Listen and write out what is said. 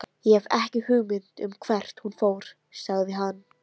Ég hef ekki hugmynd um hvert hún fór, sagði hann.